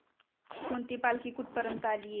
कोणती पालखी कुठं पर्यंत आलीये